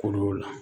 Ko dɔw la